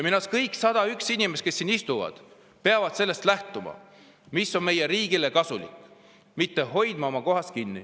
Minu arust kõik 101 inimest, kes siin istuvad, peavad lähtuma sellest, mis on kasulik meie riigile, mitte hoidma oma kohast kinni.